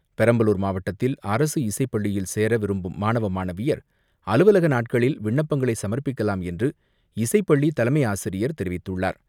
பெரம்பலூர் மாவட்டத்தில் அரசு இசைப்பள்ளியில் சேர விரும்பும் மாணவ மாணவியர் அலுவலக நாட்கள் விண்ணப்பங்களை சமர்ப்பிக்கலாம் என்று இசைப்பள்ளி தலைமை ஆசிரியர் தெரிவித்துள்ளார்.